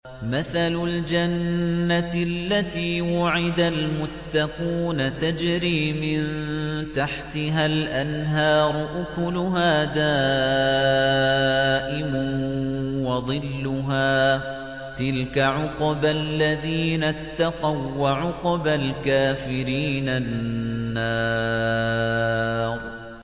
۞ مَّثَلُ الْجَنَّةِ الَّتِي وُعِدَ الْمُتَّقُونَ ۖ تَجْرِي مِن تَحْتِهَا الْأَنْهَارُ ۖ أُكُلُهَا دَائِمٌ وَظِلُّهَا ۚ تِلْكَ عُقْبَى الَّذِينَ اتَّقَوا ۖ وَّعُقْبَى الْكَافِرِينَ النَّارُ